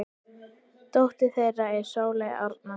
Dóttir þeirra er Sóley Arna.